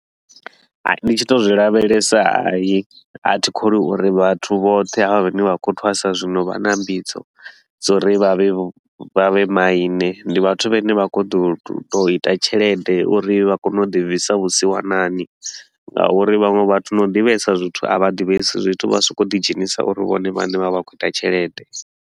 Hai ndi tshi to u zwi lavhelesa hayi a thi kholwi uri vhathu vhoṱhe ha vha vhane vha khou thwasa zwino vha na mbidzo. Dza uri vha vhe vha vhe maine, ndi vhathu vhane vha khou ḓo to u ita tshelede uri vha kone u ḓi bvisa vhusiwanani ngauri vhaṅwe vhathu na u ḓivhesa zwithu a vha ḓivhesi zwithu, vha so ko u ḓi dzhenisa uri vhone vhane vha vha khou ita tshelede.